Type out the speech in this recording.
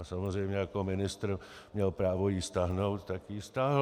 A samozřejmě jako ministr měl právo ji stáhnout, tak ji stáhl.